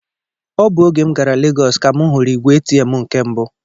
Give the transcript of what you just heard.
Ọ bụ oge m gara Legọs ka m hụrụ ìgwè Atm nke mbụ